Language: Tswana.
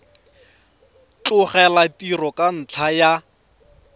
tlogela tiro ka ntlha ya